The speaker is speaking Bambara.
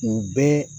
U bɛɛ